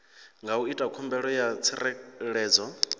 nga ita khumbelo ya tsireledzo